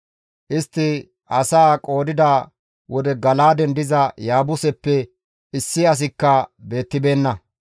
Istti asaa qoodida wode Gala7aaden diza Yaabuseppe issi asikka beettibeenna.